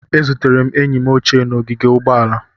Ezutere enyi m ochie n'ogige ụgbọala